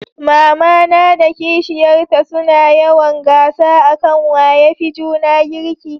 mamana da kishiyar ta su na yawan gasa a kan waya fi juna girki